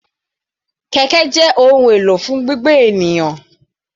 Kẹ̀kẹ́ jẹ́ ohun èlò fún gbígbé ènìyàn.